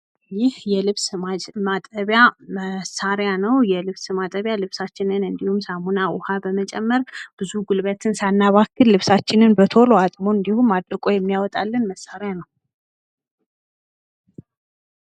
ይህ የልብስ ማጠቢያ መሳሪያ ነዉ። የልብስ ማጠቢያ ልብሳችንን እንዲሁም ሳሙና ዉኃ በመጨመር ብዙ ጉልበትን ሳናባክን ልብሳችንን በቶሎ አጥቦ እንዲሁም አድርቆ የሚያወጣልን መሳሪያ ነዉ።